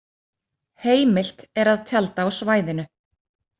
Heimilt er að tjalda á svæðinu.